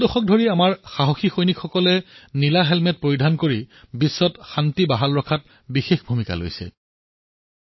দশকজুৰি আমাৰ বাহাদুৰ সৈন্যই নীলা হেলমেট পিন্ধি বিশ্বত শান্তি বৰ্তাই ৰখাৰ বাবে গুৰুত্বপূৰ্ণ ভূমিকা পালন কৰি আহিছে